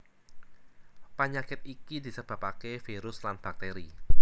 Panyakit iki disebabaké virus lan baktèri